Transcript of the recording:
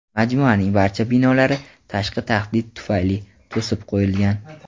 majmuaning barcha binolari "tashqi tahdid tufayli" to‘sib qo‘yilgan.